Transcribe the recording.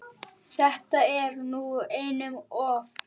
Þetta er nú einum of!